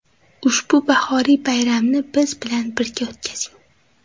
Ushbu bahoriy bayramni biz bilan birga o‘tkazing.